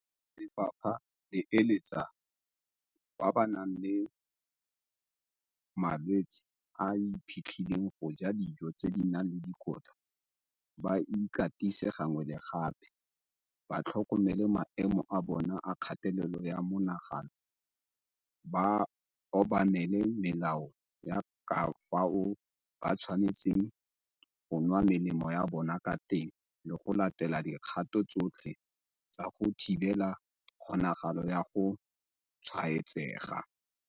Lefapha le eletsa batho ba ba nang le malwetse a a iphitlhileng go ja dijo tse di nang le dikotla, ba ikatise gangwe le gape, ba tlhokomele maemo a bona a kgatelelo ya monagano, ba obamele melao ya ka fao ba tshwanetseng go nwa melemo ya bona ka teng le go latela dikgato tsotlhe tsa go thibela kgonagalo ya go tshwaetsega.